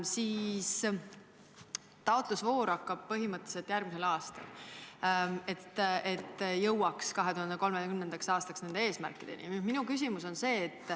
Taotlusvoor avatakse põhimõtteliselt järgmisel aastal, et jõuaks 2030. aastaks nende eesmärkideni.